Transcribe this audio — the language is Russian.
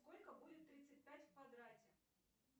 сколько будет тридцать пять в квадрате